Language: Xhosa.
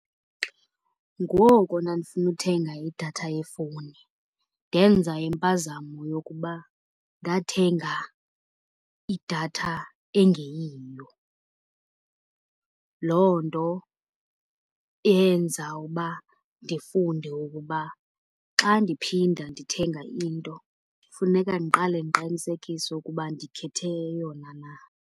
Ngoku ndandifuna uthenga idatha yefowuni ndenza impazamo yokuba ndathenga idatha engeyiyo. Loo nto yenza uba ndifunde ukuba xa ndiphinda ndithenga into funeka ndiqale ndiqinisekise ukuba ndikhethe eyona na.